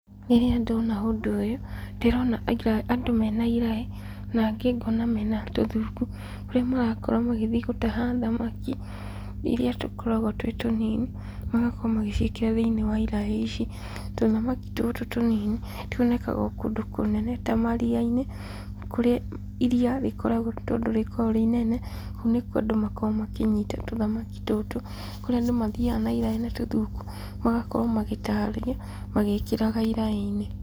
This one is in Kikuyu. Rĩrĩa ndona ũndũ ũyũ, ndĩrona andũ mena iraĩ, na angĩ ngona mena tũthuku, kũrĩa marakorwo magĩthiĩ gũtaha thamaki, iria tũkoragwo twĩ tũnini, magakorwo magĩciĩkĩra thĩinĩ wa iraĩ ici, tũthamaki tũtũ tũnini, twonekaga o kũndũ kũnene ta maria-inĩ, kũrĩa iria rĩkoragwo tondũ rĩkoragwo rĩ inene, kũu nĩkwo andũ makoragwo makĩnyita tũthamaki tũtũ, kũrĩa andũ mathiaga na iraĩ na tũthuku, magakorwo magĩtaha magĩkĩraga iraĩ-inĩ.